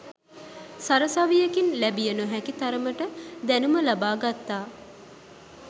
සරසවියකින් ලැබිය නොහැකි තරමට දැණුම ලබා ගත්තා.